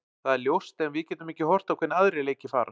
Það er ljóst en við getum ekki horft á hvernig aðrir leikir fara.